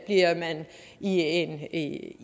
man i en en